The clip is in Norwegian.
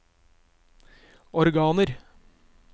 organer